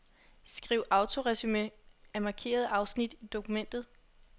Skriv autoresumé af markerede afsnit i dokumentet.